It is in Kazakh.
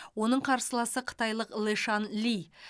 оның қарсыласы қытайлық лешан ли